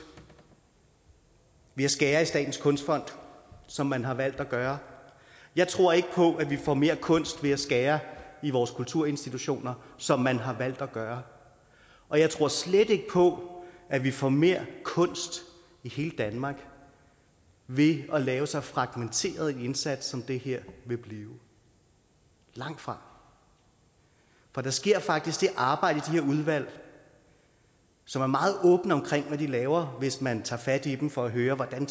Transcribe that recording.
ved at skære i statens kunstfond som man har valgt at gøre jeg tror ikke på at vi får mere kunst ved at skære i vores kulturinstitutioner som man har valgt at gøre og jeg tror slet ikke på at vi får mere kunst i hele danmark ved at lave så fragmenteret en indsats som det her vil blive langtfra for der sker faktisk det arbejde i de her udvalg som er meget åbne om hvad de laver hvis man tager fat i dem for at høre hvordan